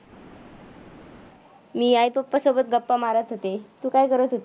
तू काय करत होती?